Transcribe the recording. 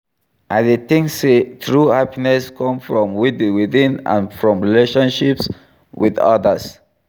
I dey tink say true happiness come from within and from relatioships with others.